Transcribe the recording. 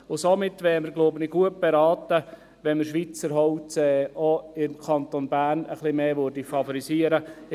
Somit wären wir, glaube ich, gut beraten, wenn wir Schweizer Holz auch im Kanton Bern etwas mehr favorisieren würde.